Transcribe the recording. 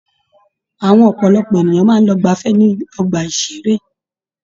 Àwọn ọpọlọpọ èèyàn máa ń lọ gbafẹ́ ní ọgbà-ìṣeré.